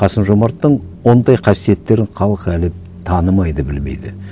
қасым жомарттың ондай қасиеттерін халық әлі танымайды білмейді